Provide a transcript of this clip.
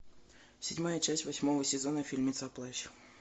седьмая часть восьмого сезона фильмеца плащ